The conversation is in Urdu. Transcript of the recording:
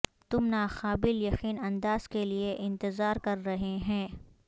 تم ناقابل یقین انداز کے لئے انتظار کر رہے ہیں